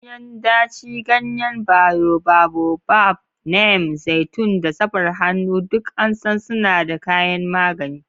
Ganyen daci, ganyen boababab, neem, zaitun, da safar hannu duk an san suna da kayan magani.